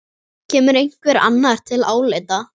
Kemur einhver annar til álita?